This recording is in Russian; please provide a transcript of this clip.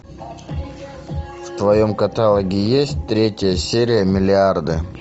в твоем каталоге есть третья серия миллиарды